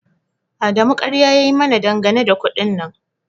Adamu ƙarya ya yi mana dangane da kuɗin nan